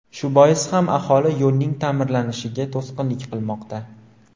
Shu bois ham aholi yo‘lning ta’mirlanishiga to‘sqinlik qilmoqda.